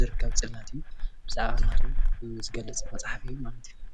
ዝርከብ ፅላት እዩ፡፡ ብዛዕባ ሃይማኖት እውን ዝገልፅ መፅሓፍ እዩ ማለት እዩ፡፡